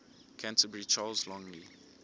canterbury charles longley